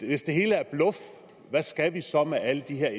hvis det hele er bluff hvad skal vi så med alle de her